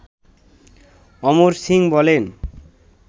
অমর সিং বলেন